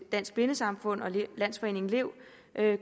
dansk blindesamfund og landsforeningen lev